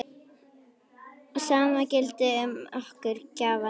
Sama gildir um okkar gjafir.